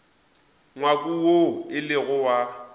ngwako woo e lego wa